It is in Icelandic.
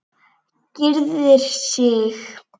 Gyrðir sig.